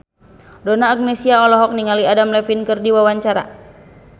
Donna Agnesia olohok ningali Adam Levine keur diwawancara